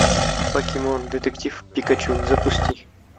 покемон детектив пикачу запусти